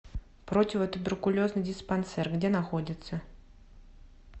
противотуберкулезный диспансер где находится